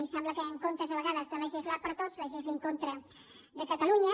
i sembla que en comptes a vegades de legislar per a tots legislin contra catalunya